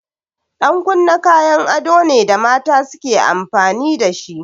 Ɗan kunne kayan ado ne da mata suke amfani dashi.